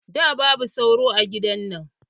Da, babu sauro a gidan nan